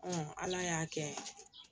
ala y'a kɛ